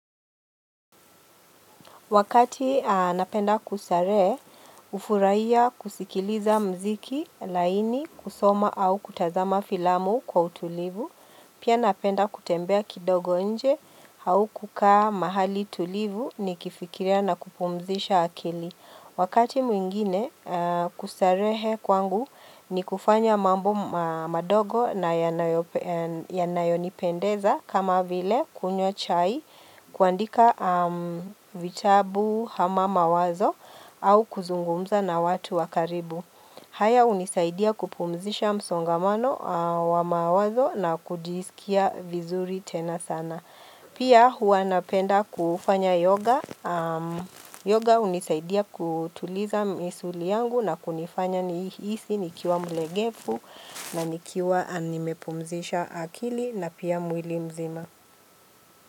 Wakati napenda kustarehe, hufuraiya kusikiliza muziki, laini, kusoma au kutazama filamu kwa utulivu. Pia napenda kutembea kidogo nje au kukaa mahali tulivu nikifikiria na kupumzisha akili. Wakati mwingine kustarehe kwangu ni kufanya mambo madogo na yanayonipendeza kama vile kunywa chai kuandika vitabu ama mawazo au kuzungumza na watu wa karibu. Haya hunisaidia kupumzisha msongamano wa mawazo na kujisikia vizuri tena sana. Pia hua napenda kufanya yoga. Yoga hunisaidia kutuliza misuli yangu na kunifanya nihisi nikiwa mlegevu na nikiwa nimepumzisha akili na pia mwili mzima.